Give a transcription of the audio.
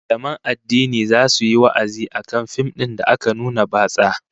Mallaman addini zasu yi wa'azi akan fim din da aka nuna batsa